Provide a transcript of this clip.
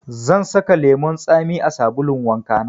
Zan saka lemun tsami a sabulun wanka na.